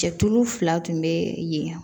Cɛ tulu fila tun bɛ yen